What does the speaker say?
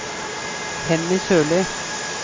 Henny Sørlie